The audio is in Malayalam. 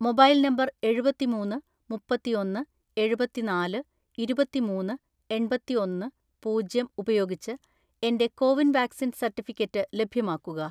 മൊബൈൽ നമ്പർ എഴുപത്തിമൂന്ന് മുപ്പത്തിഒന്ന് എഴുപത്തിനാല് ഇരുപത്തിമൂന്ന് എണ്‍പത്തിഒന്ന് പൂജ്യം ഉപയോഗിച്ച് എന്റെ കോവിൻ വാക്‌സിൻ സർട്ടിഫിക്കറ്റ് ലഭ്യമാക്കുക.